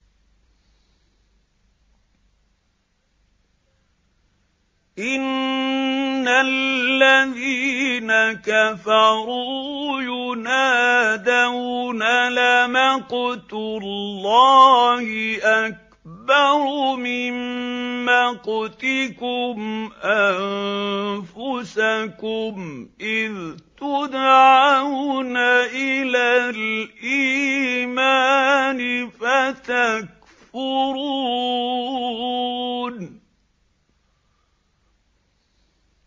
إِنَّ الَّذِينَ كَفَرُوا يُنَادَوْنَ لَمَقْتُ اللَّهِ أَكْبَرُ مِن مَّقْتِكُمْ أَنفُسَكُمْ إِذْ تُدْعَوْنَ إِلَى الْإِيمَانِ فَتَكْفُرُونَ